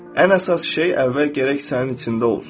Ən əsas şey əvvəl gərək sənin içində olsun.